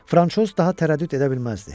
Fransoz daha tərəddüd edə bilməzdi.